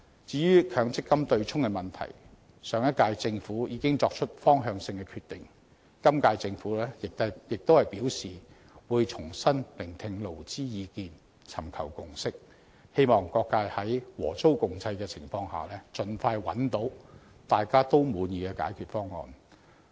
至於強積金對沖機制，上屆政府已經作出方向性的決定，今屆政府亦表示會重新聆聽勞資意見，尋求共識，希望各界在和衷共濟的情況下，盡快找到大家也滿意的解決方案。